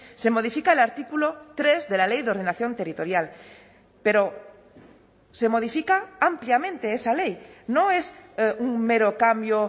se modifica el artículo tres de la ley de ordenación territorial pero se modifica ampliamente esa ley no es un mero cambio